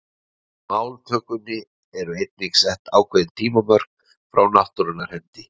Máltökunni eru einnig sett ákveðin tímamörk frá náttúrunnar hendi.